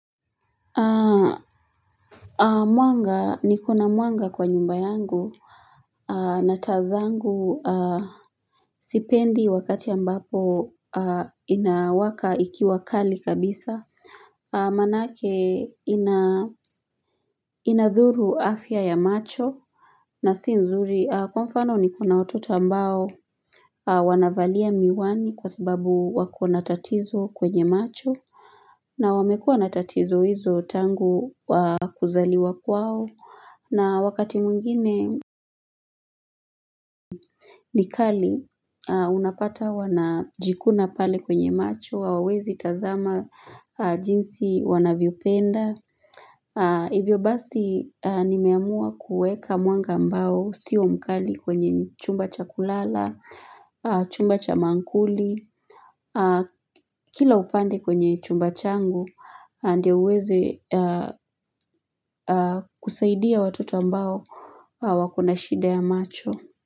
Mwanga nikona mwanga kwa nyumba yangu na taa zangu sipendi wakati ambapo inawaka ikiwa kali kabisa Maanake inadhuru afya ya macho na si zuri kwa mfano niko na watoto ambao Wanavalia miwani kwa sababu wakona tatizo kwenye macho na wamekua na tatizo hizo tangu kuzaliwa kwao na wakati mwingine ni kali unapata wanajikuna pale kwenye macho hawawezi tazama jinsi wanavyopenda. Hivyo basi nimehamua kueka mwanga ambao sio mkali kwenye chumba cha kulala, chumba cha maakuli. Kila upande kwenye chumba changu ndio uweze kusaidia watoto ambao wakona shida ya macho.